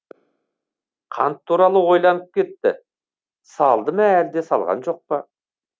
қант туралы ойланып кетті салды ма әлде салған жоқпа